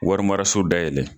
Warimaraso da yɛlɛlɛ